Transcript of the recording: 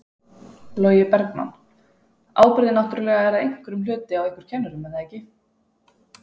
Logi Bergmann: Ábyrgðin náttúrulega er að einhverjum hluti á ykkur kennurum er það ekki?